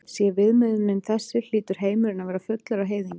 Sé viðmiðunin þessi hlýtur heimurinn að vera fullur af heiðingjum.